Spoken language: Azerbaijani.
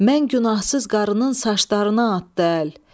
Mən günahsız qarının saçlarına atdı əl.